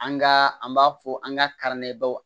An ka an b'a fɔ an ka